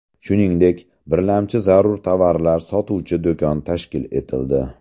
Shuningdek, birlamchi zarur tovarlar sotuvchi do‘kon tashkil etildi.